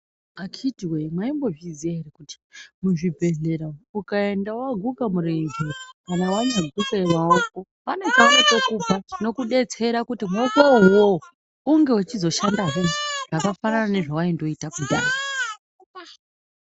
Akiti woye maizviziya here kuti muzvibhedhlera umu ukaenda waguka murenje kana wanyaguke maoko pane chavanotokupa chinokubetsera kuti maoko iwowo uzoshanda hee zvakafanana nezvawaingoita .